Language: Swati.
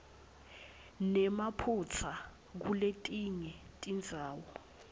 nemaphutsa kuletinye tindzawo